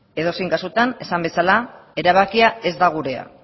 edozein kasutan esan bezala erabakia ez da gurea